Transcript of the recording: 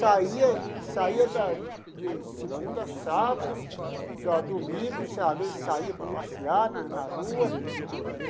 saía saía da de segunda a sábado, da domingo saía saía para passear na na rua.